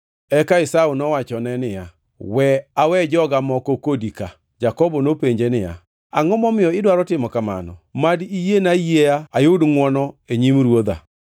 Eka Esau nowachone niya, “We awe joga moko kodi ka.” Jakobo nopenje niya, “Angʼo momiyo idwaro timo kamano? Mad iyiena ayieya ayud ngʼwono e nyim ruodha.”